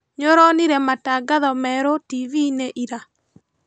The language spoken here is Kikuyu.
Nĩũronire matangatho merũ tiviinĩ ira?